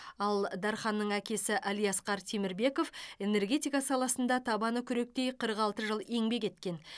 ал дарханның әкесі әлиасқар темірбеков энергетика саласында табаны күректей қырық алты жыл еңбек еткен